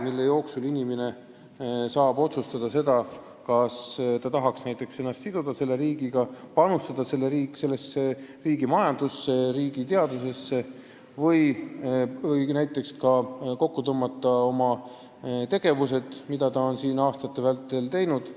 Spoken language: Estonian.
Selle aja jooksul inimene saab otsustada, kas ta tahab ennast siduda selle riigiga, panustada selle riigi majandusse ja teadusesse või lihtsalt kokku tõmmata oma tegevuse, kõik, mis ta on siin aastate vältel teinud.